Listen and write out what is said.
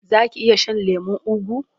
Za ki iya shan lemon ugu?